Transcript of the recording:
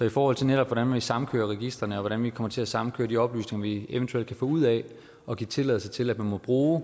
i forhold til hvordan vi samkører registrene og hvordan vi kommer til at samkøre de oplysninger vi eventuelt kan få ud af at give tilladelse til at man må bruge